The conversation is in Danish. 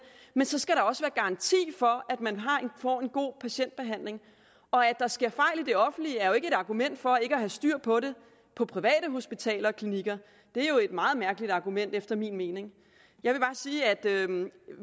men så skal der også være garanti for at man får en god patientbehandling og at der sker fejl i det offentlige er jo ikke et argument for ikke at have styr på det på private hospitaler og klinikker det er jo et meget mærkeligt argument efter min mening jeg vil bare sige at